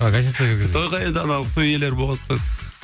а гостиницаға кіргізбейді тойға енді анау той иелері болған соң